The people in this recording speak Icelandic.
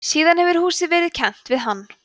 síðan hefur húsið verið kennt við hann